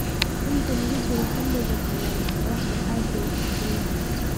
Inta lagu jiro xilliga qalalan, qorraxdu aad bay u kululaatay.